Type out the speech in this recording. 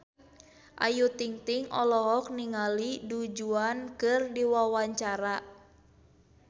Ayu Ting-ting olohok ningali Du Juan keur diwawancara